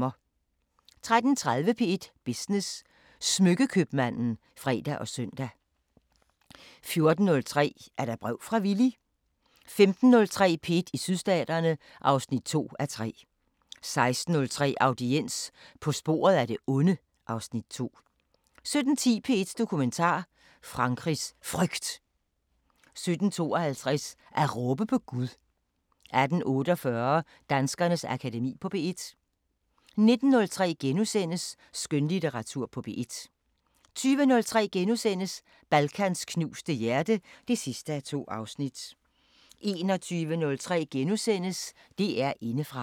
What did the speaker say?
13:30: P1 Business: Smykke-købmanden (fre og søn) 14:03: Er der brev fra Villy? 15:03: P1 i Sydstaterne (2:3) 16:03: Audiens – På sporet af det onde (Afs. 2) 17:10: P1 Dokumentar: Frankrigs Frygt 17:52: At råbe på Gud 18:48: Danskernes Akademi på P1 19:03: Skønlitteratur på P1 * 20:03: Balkans knuste hjerte (2:2)* 21:03: DR Indefra *